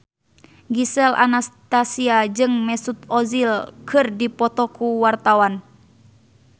Gisel Anastasia jeung Mesut Ozil keur dipoto ku wartawan